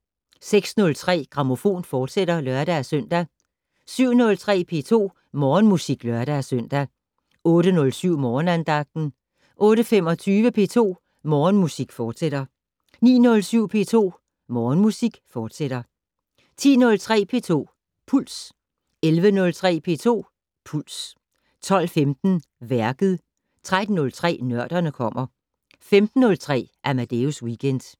06:03: Grammofon, fortsat (lør-søn) 07:03: P2 Morgenmusik (lør-søn) 08:07: Morgenandagten 08:25: P2 Morgenmusik, fortsat 09:07: P2 Morgenmusik, fortsat 10:03: P2 Puls 11:03: P2 Puls 12:15: Værket 13:03: Nørderne kommer 15:03: Amadeus Weekend